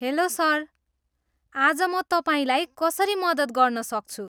Hello, sir. आज म तपाईँलाई कसरी मद्दत गर्न सक्छु?